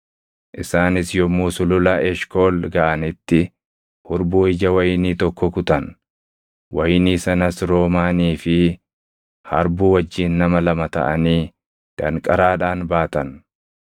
Isaanis yommuu Sulula Eshkool gaʼanitti hurbuu ija wayinii tokko kutan. Wayinii sanas roomaanii fi harbuu wajjin nama lama taʼanii danqaraadhaan baatan.